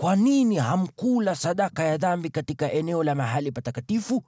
“Kwa nini hamkula sadaka ya dhambi katika eneo la mahali patakatifu?